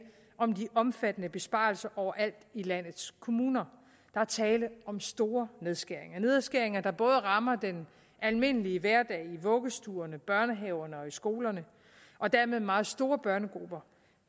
om de omfattende besparelser overalt i landets kommuner der er tale om store nedskæringer nedskæringer der rammer den almindelige hverdag i vuggestuerne børnehaverne og skolerne og dermed meget store børnegrupper